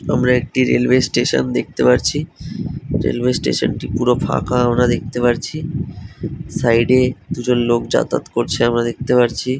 আমরা একটি রেলওয়েস্টেশন দেখতে পারচ্ছি। রেলওয়েস্টেশন - টি পুরো ফাঁকা আমরা দেখতে পারচ্ছি। সাইডে -এদু জন লোক যাতায়াত করছে দেখতে পার চ্ছি ।